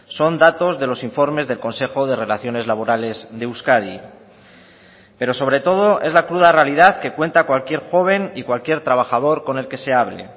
son datos de los informes del consejo de relaciones laborales de euskadi pero sobre todo es la cruda realidad que cuenta cualquier joven y cualquier trabajador con el que se hable